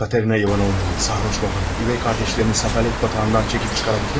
Katerina Ivanovna'yı, sarhoş babanı, üvey kardeşlerini səfalət batağından çekip çıkarabildin mi?